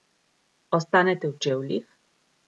Ostanete v čevljih?